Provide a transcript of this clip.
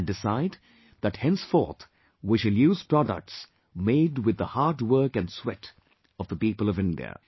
and decide that henceforth we shall use products made with the hard work and sweat of the people of India